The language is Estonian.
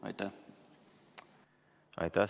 Aitäh!